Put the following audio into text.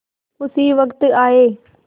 उसी वक्त आये